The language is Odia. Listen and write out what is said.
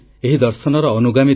ମୋର ପ୍ରିୟ ଦେଶବାସୀଗଣ ନମସ୍କାର